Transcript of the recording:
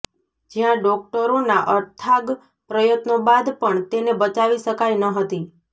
જ્યાં ડોક્ટરોના અથાગ પ્રયત્નો બાદ પણ તેને બચાવી શકાઈ ન હતી